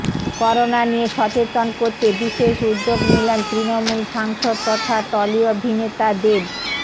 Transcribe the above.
corona নিয়ে সচেতন করতে বিশেষ উদ্যোগ নিলেন তৃণমূল সাংসদ তথা টলি অভিনেতা দেব